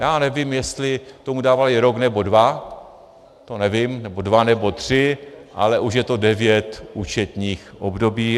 Já nevím, jestli tomu dávali rok nebo dva, to nevím, nebo dva nebo tři, ale už je to devět účetních období.